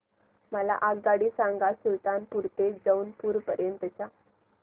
मला आगगाडी सांगा सुलतानपूर ते जौनपुर पर्यंत च्या